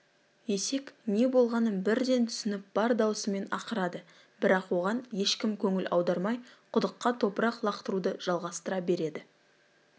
есек не болғанын бірден түсініп бар дауысымен ақырады бірақ оған ешкім көңіл аудармай құдыққа топырақ лақтыруды жалғастыра береді